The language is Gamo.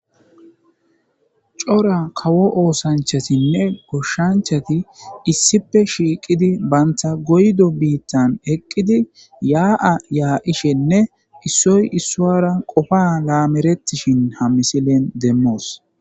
cora kawo oosanchasinne goshshanchati issipe shiiqidi bantha goydo biittan heqqidi yaa7a yaa7ishenne issoy issuwara qofa laameretishin ha misilen demmoos